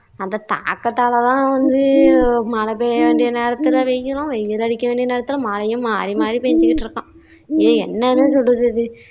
அந்த தாகத்தால தான் வந்து மழை பெய்ய வெண்டிய நேரத்துல வெயிலும் வெயில் அடிக்க வேண்டிய நெரத்துல மழையும் மாறி மாறி பெஞ்சுக்கிட்டு இருக்காம். இது என்னான்னு சொல்றது இது